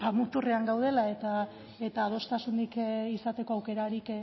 muturrean gaudela eta adostasunik izateko aukerarik